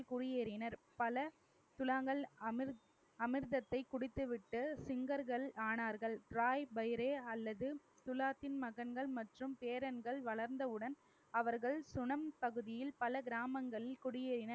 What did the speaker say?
குடியேறினர் பல சுழாங்கள் அமிர்த் அமிர்தத்தை குடித்துவிட்டு சிங்கர்கள் ஆனார்கள் ராய் பயிரே அல்லது துலாத்தின் மகன்கள் மற்றும் பேரன்கள் வளர்ந்தவுடன் அவர்கள் சுனம் பகுதியில் பல கிராமங்களில் குடியேறின